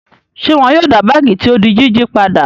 Ṣé wọn yóò dá báágì tí ó di jíjí padà?